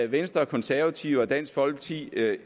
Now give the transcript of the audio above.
venstre konservative og dansk folkeparti